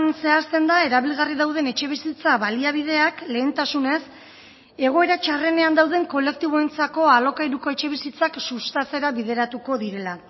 zehazten da erabilgarri dauden etxebizitza baliabideak lehentasunez egoera txarrenean dauden kolektiboentzako alokairuko etxebizitzak sustatzera bideratuko direla